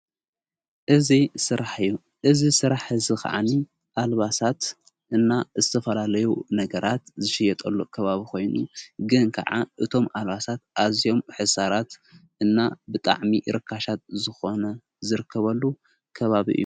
እዚ ስራሕ እዩ እዚ ስራሕ እዚ ኸዓኒ ኣልባሳት እና ዝተፈላለዩ ነገራት ዝሸየጠሉ ከባብ ኾይኑ ግን ከዓ እቶም ኣልባሳት ኣዚዮም ሕሳራት እና ብጣዕሚ ርካሻት ዝኾኑ ዝርከበሉ ከባቢ እዩ።